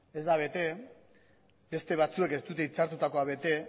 ez da bete beste batzuek ez dute itzartutakoa bete